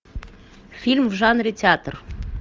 фильм в жанре театр